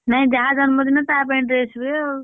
ନାଇଁ ଯାହା ଜନ୍ମ ଦିନ ତା ପାଇଁ dress ହୁଏ ଆଉ।